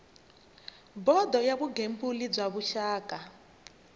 bodo ya vugembuli bya rixaka